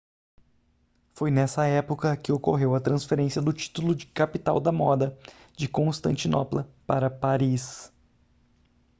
foi nessa época que ocorreu a transferência do título de capital da moda de constantinopla para paris